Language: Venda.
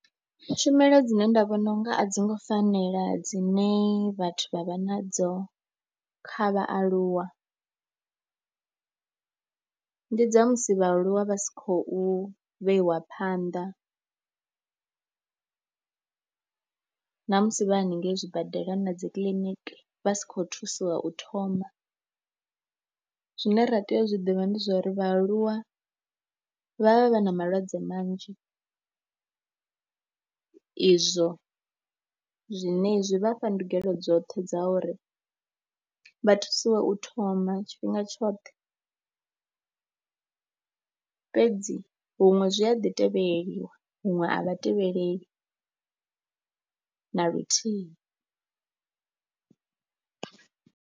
Tshumelo dzine nda vhona u nga a dzi ngo fanela dzine vhathu vha vha nadzo kha vhaaluwa, ndi dza musi vhaaluwa vha si khou vheiwa phanḓa ṋamusi vha haningei zwibadela na dzikiḽiniki vha si khou thusiwa u thoma. Zwine ra tea u zwi ḓivha ndi zwa uri vhaaluwa vha vha vha na malwadze manzhi, izwo zwine zwi vha fha ndungelo dzoṱhe dza uri vha thusiwe u thoma tshifhinga tshoṱhe fhedzi huṅwe zwi a ḓi tevheleliwa, huṅwe a vha tevheleleli na luthihi.